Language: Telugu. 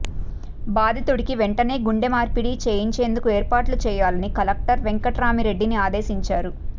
బాధితుడికి వెంటనే గుండె మార్పిడి చేయించేందుకు ఏర్పాట్లు చేయాలని కలెక్టర్ వెంకట్రామ్రెడ్డిని ఆదేశించారు